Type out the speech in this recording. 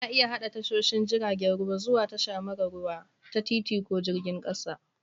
Ana iya haɗa tashoshin jiragen ruwa zuwa tasha mara ruwa ta titi ko jirgin ƙasa